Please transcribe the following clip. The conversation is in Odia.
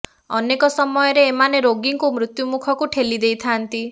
ଅନେକ ସମୟରେ ଏମାନେ ରୋଗୀଙ୍କୁ ମୃତ୍ୟୁ ମୁଖକୁ ଠେଲି ଦେଇଥାନ୍ତି